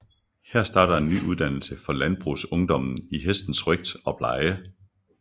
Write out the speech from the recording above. Her starter en ny uddannelse for landboungdommen i hestens røgt og pleje